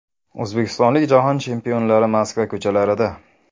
O‘zbekistonlik Jahon chempionlari Moskva ko‘chalarida .